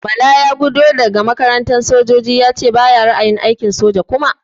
Bala ya gudo daga makarantar sojoji yace bayi ra'ayin aikin soja kuma.